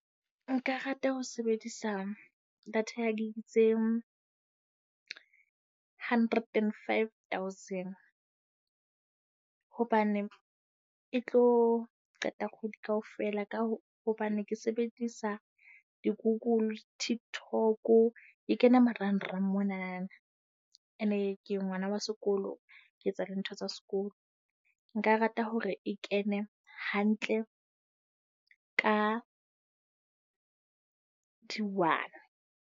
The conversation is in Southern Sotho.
Nka rata ho sebedisa data ya gig tse hundred and five thousand, hobane e tlo qeta kgwedi kaofela ka ho hobane ke sebedisa di-Google. TikTok. Ke kena marangrang monana, ene ke ngwana wa sekolo. Ke etsa dintho tsa sekolo. Nka rata hore e kene hantle ka di-one.